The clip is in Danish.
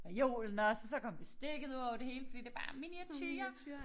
Reolen også og så kom bestikket udover det hele fordi det bare er miniature